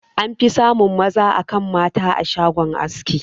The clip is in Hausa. An fi samun maza akan mata a shagon aski.